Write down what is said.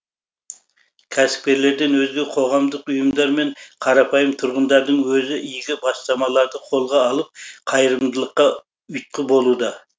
кәсіпкерлерден өзге қоғамдық ұйымдар мен қарапайым тұрғындардың өзі игі бастамаларды қолға алып қайырымдылыққа ұйытқы болуда